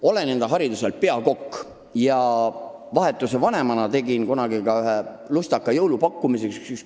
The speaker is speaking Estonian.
Olen hariduselt peakokk ja vahetuse vanemana tegin kunagi ühe lustaka jõulupakkumise.